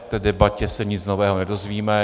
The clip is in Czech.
V té debatě se nic nového nedozvíme.